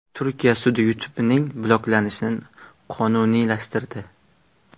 Turkiya sudi YouTube’ning bloklanishini qonuniylashtirdi.